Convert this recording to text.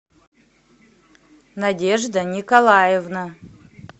надежда николаевна